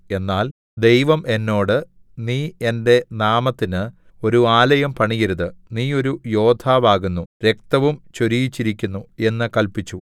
എന്നാൽ ദൈവം എന്നോട് നീ എന്റെ നാമത്തിന് ഒരു ആലയം പണിയരുത് നീ ഒരു യോദ്ധാവാകുന്നു രക്തവും ചൊരിയിച്ചിരിക്കുന്നു എന്നു കല്പിച്ചു